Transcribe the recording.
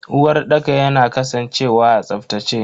Uwarɗaka yana kasancewa a tsaftace.